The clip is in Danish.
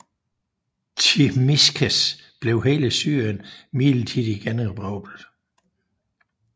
Tzimiskes blev hele Syrien midlertidig generobret